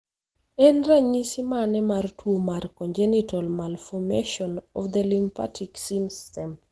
En ranyisi mane mar tuo mar congenital malformation of the lymphatic system?